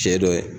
Cɛ dɔ ye